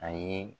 A ye